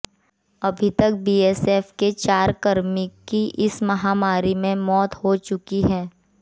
अभी तक बीएसएफ के चार कर्मी की इस महामारी से मौत हो चुकी है